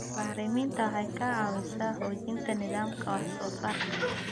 Bacriminta waxay ka caawisaa xoojinta nidaamka wax soo saarka.